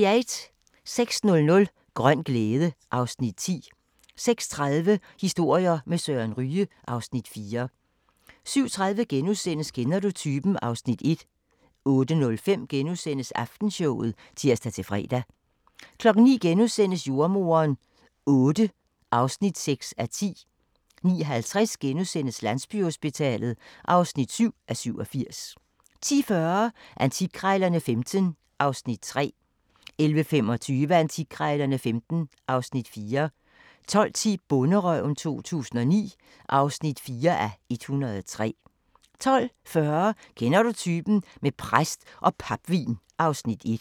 06:00: Grøn glæde (Afs. 10) 06:30: Historier med Søren Ryge (Afs. 4) 07:30: Kender du typen? (Afs. 1)* 08:05: Aftenshowet *(tir-fre) 09:00: Jordemoderen VIII (6:10)* 09:50: Landsbyhospitalet (7:87)* 10:40: Antikkrejlerne XV (Afs. 3) 11:25: Antikkrejlerne XV (Afs. 4) 12:10: Bonderøven 2009 (4:103) 12:40: Kender du typen? - med præst og papvin (Afs. 1)